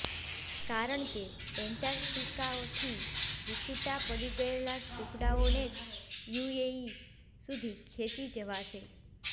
કારણ કે એન્ટાર્કટિકાથી વિખૂટા પડી ગયેલા ટુકડાઓને જ યુએઇ સુધી ખેંચી જવાશે